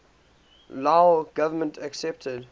lao government accepted